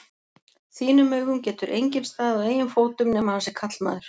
þínum augum getur enginn staðið á eigin fótum nema hann sé karlmaður.